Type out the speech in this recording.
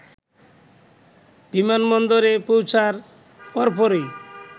বিমানবন্দরে পৌঁছার পরপরই